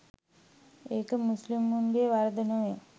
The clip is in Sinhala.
ඒක මුස්ලිමුන්ගේ වරද නොවේ.